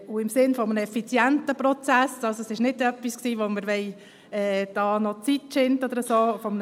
Es ist nichts, mit dem wir hier Zeit schinden wollten.